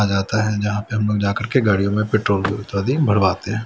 आ जाता है जहां पे हम लोग जाकर के गाड़ियों में पेट्रोल आदि भरवाते हैं।